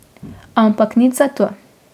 Ampak nič zato ...